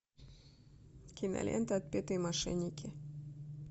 кинолента отпетые мошенники